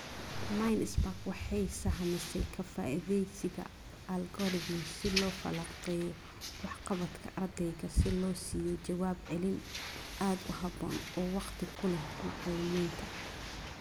Mindspark waxay sahamisay ka faa'iidaysiga algorithms si loo falanqeeyo waxqabadka ardayga si loo siiyo jawaab celin aad u haboon oo waqti ku leh macalimiinta.